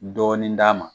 Dɔɔnin d'a ma